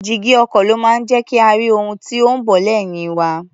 Jígí ọkọ̀ ló máa ń jẹ́ kí a rí ohun tí ó ń bọ̀ lẹ́yìn wa.